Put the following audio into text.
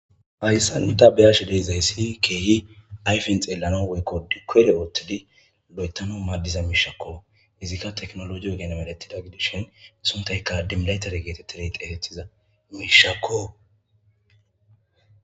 Hayssa nu tabeyash deizayssi keehi ayfen xeellano weykko dikere oothtidi lo'etano maadiza miishakko izikka teknologio genamelettida gidishin isuntayka dimlaytare geetettireytefetiza miishakko.